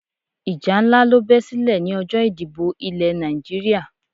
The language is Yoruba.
Ìjà nlá ló be silè ni ọjó ìdìbò Ilè Nàìjíríà